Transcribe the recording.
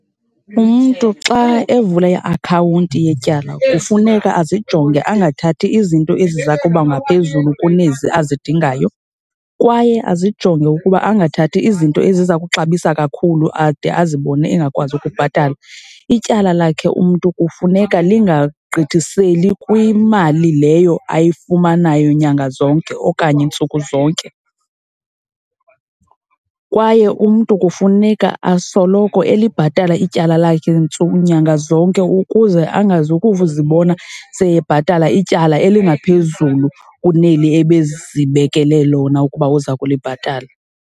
Umntu xa evula iakhawunti yetyala kufuneka azijonge angathathi izinto eziza kuba ngaphezulu kunezi azidingayo kwaye azijonge ukuba angathathi izinto eziza kuxabisa kakhulu ade azibone engakwazi ukubhatala. Ityala lakhe umntu kufuneka lingagqithiseli kwimali leyo ayifumanayo nyanga zonke okanye ntsuku zonke. Kwaye umntu kufuneka asoloko elibhatala ityala lakhe ntsuku, nyanga zonke ukuze angazukuzibona sebhatala ityala elingaphezulu kuneli ebezibekele lona ukuba uza kulibhatala.